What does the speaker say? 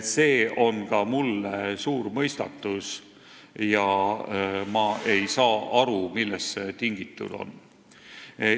See on ka mulle suur mõistatus ja ma ei saa aru, millest see tingitud on.